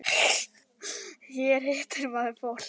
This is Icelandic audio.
Hér hittir maður fólk.